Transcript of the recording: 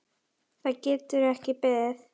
Það getur ekki beðið.